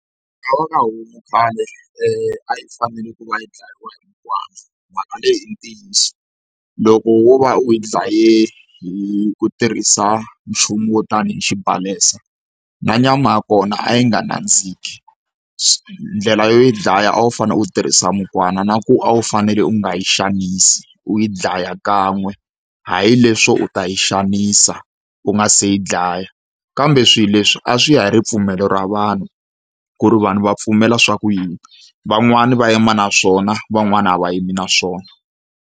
homu khale a yi fanele ku va yi dlayiwa mhaka leyi i ntiyiso. Loko wo va u yi dlaye hi ku tirhisa nchumu wo tani hi xibalesa, na nyama ya kona a yi nga nandziki. Ndlela yo yi dlaya a wu fanele u tirhisa mukwana na ku a wu fanele u nga yi xanisi, u yi dlaya kan'we. Hayi leswo u ta yi xaxanisa u nga se yi dlaya. Kambe swilo leswi a swi ya hi ripfumelo ra vanhu ku ri vanhu va pfumela swa ku yini, van'wani va yima na swona van'wani a va yimi na swona.